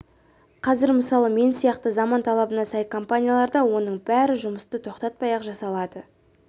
қазір мысалы мен сияқты заман талабына сай компанияларда оның бәрі жұмысты тоқтатпай-ақ жасалады